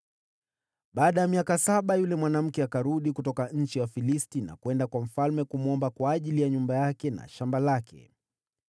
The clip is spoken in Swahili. Baada ya miaka saba, yule mwanamke akarudi kutoka nchi ya Wafilisti, akaenda kwa mfalme kumsihi kwa ajili ya nyumba yake na shamba lake.